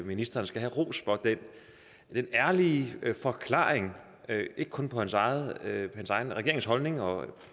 ministeren skal have ros for den ærlige forklaring ikke kun på hans egen regerings egen regerings holdning og